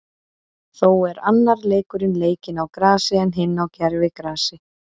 Þó er annar leikurinn leikinn á grasi, en hinn á gervigrasi.